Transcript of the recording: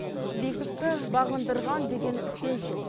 биіктікті бағындырған деген сөз жоқ